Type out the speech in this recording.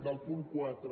del punt quatre